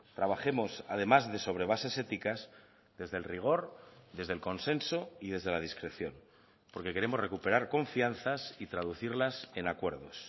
trabajemos además de sobre bases éticas desde el rigor desde el consenso y desde la discreción porque queremos recuperar confianzas y traducirlas en acuerdos